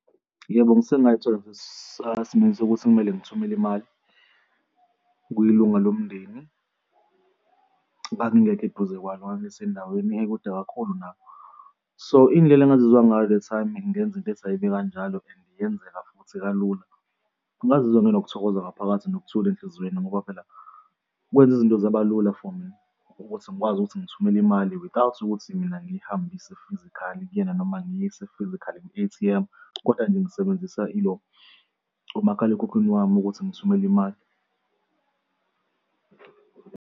Yebo, ngisengazithola ngisesimeni sokuthi kumele ngithumele imali kwilunga lomndeni, ngangingekho eduze kwalo, ngangisendaweni ekude kakhulu nabo. So, indlela engazizwa ngayo the time ngenza into ethi ayibe kanjalo and yenzeka futhi kalula. Ngazizwa nginokuthokoza ngaphakathi nokuthula enhlizweni ngoba phela kwenza izinto zabalula for mina ukuthi ngikwazi ukuthi ngithumele imali without ukuthi mina ngiyihambise physically kuyena noma ngiyise physical kwi-A_T_M, koda nje ngisebenzisa ilo, umakhalekhukhwini wami ukuthi ngithumele imali.